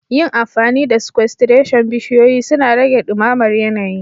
Yin amfani da sequestration, bishiyoyi suna rage dumamar yanayi